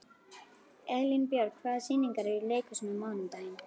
Elínbjörg, hvaða sýningar eru í leikhúsinu á mánudaginn?